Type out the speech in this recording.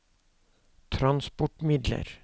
transportmidler